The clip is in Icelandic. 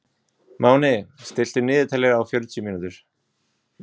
Máni, stilltu niðurteljara á fjörutíu mínútur.